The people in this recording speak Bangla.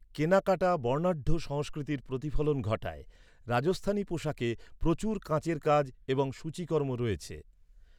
কেনাকাটা বর্ণাঢ্য সংস্কৃতির প্রতিফলন ঘটায়, রাজস্থানী পোশাকে প্রচুর কাঁচের কাজ এবং সূচিকর্ম রয়েছে।